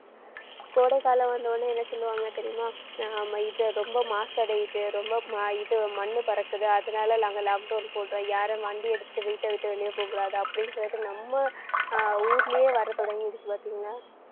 கோடை காலம் வந்த உடனே என்ன சொல்லுவாங்க தெரியுமா? நாம இதை ரொம்ப மாசு அடையுது. ரொம்ப இது மண்ணு பறக்குது. அதனால நாங்க lockdown போட்டோம். யாரும் வண்டி எடுத்துட்டு வீட்டை விட்டு வெளிய போகக்கூடாது அப்படின்னு சொல்லிட்டு நம்ம ஆஹ் ஊர்லயே வர தொடங்கிடுச்சு பாத்தீங்களா